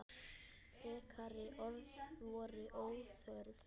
Frekari orð voru óþörf.